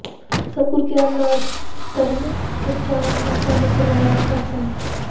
ਸਤਿਗੁਰੂ ਗਿਆਨ ਨਾਥ ਧਰਮ ਪ੍ਰਚਾਰ ਸੰਸਥਾ ਨੇ ਕਰਵਾਇਆ ਸਤਿਸੰਗ